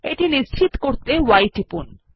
এটি নিশ্চিত করতে y টিপুন